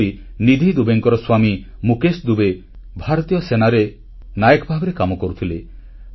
ସେହିପରି ନିଧି ଦୁବେଙ୍କର ସ୍ୱାମୀ ମୁକେଶ ଦୁବେ ଭାରତୀୟ ସେନାରେ ନାୟକ ଭାବରେ କାମ କରୁଥିଲେ